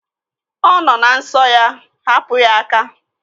Ọ nọ na nsọ ya. Hapụ ya aka!